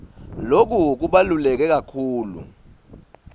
loku kubaluleke kakhulu